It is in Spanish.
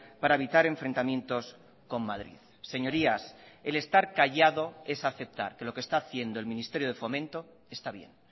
para evitar enfrentamientos con madrid señorías el estar callado es aceptar que lo que está haciendo el ministerio de fomento está bien